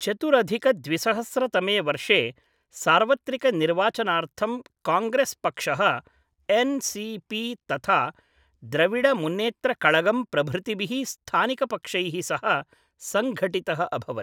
चतुरधिक द्विसहस्र तमे वर्षे सार्वत्रिकनिर्वाचनार्थं काङ्ग्रेस् पक्षः एन्.सी.पी. तथा द्रविड मुन्नेत्र कळगम् प्रभृतिभिः स्थानिकपक्षैः सह सङ्घटितः अभवत्।